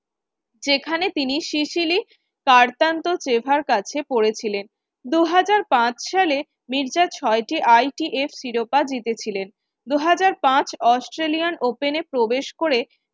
সেখানে তিনি সিসিলি সেভার কাছে পড়েছিলেন। দু হাজার পাঁচ সালে মির্জা ছয় টি ITA শিরোপা জিতেছিলেন। দু হাজার পাঁচ Australian open এ প্রবেশ করে